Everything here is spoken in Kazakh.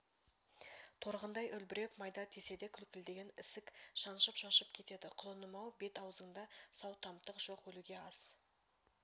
торғындай үлбіреп майда тисе де көлкілдеген ісік шаншып-шаншып кетеді құлыным-ау бет-аузыңда сау тамтық жоқ өлуге аз